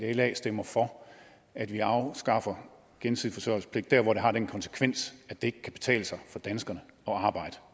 at la stemmer for at vi afskaffer gensidig forsørgelsespligt dér hvor det har den konsekvens at det ikke kan betale sig for danskerne at arbejde